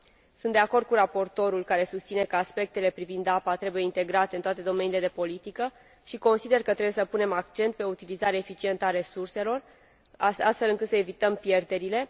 Sunt de acord cu raportorul, care susține că aspectele privind apa trebuie integrate în toate domeniile de politică, și consider că trebuie să punem accent pe utilizarea eficientă a resurselor, astfel încât să evităm pierderile.